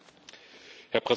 Herr Präsident!